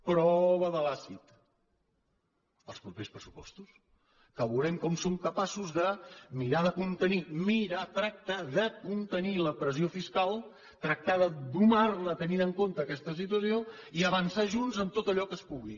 prova de l’àcid els propers pressupostos que veurem com som capaços de mirar de contenir mirar tractar de contenir la pressió fiscal tractar de domar la tenint en compte aquesta situació i avançar junts en tot allò que es pugui